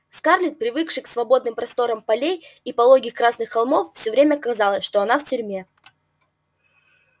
скарлетт привыкшей к свободным просторам полей и пологих красных холмов всё время казалось что она в тюрьме